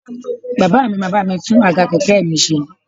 Bàbá mi máa bá mi tún àga kẹ̀kẹ́ mi ṣe